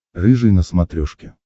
рыжий на смотрешке